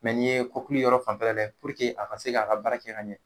nin ye kɔkili yɔrɔ fanfɛla lajɛ a ka se k'a ka baara kɛ ka ɲɛ